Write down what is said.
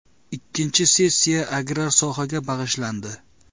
Ikkinchi sessiya agrar sohaga bag‘ishlandi.